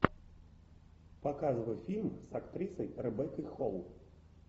показывай фильм с актрисой ребеккой холл